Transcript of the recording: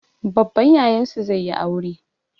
Babban Yayansu zai yi aure.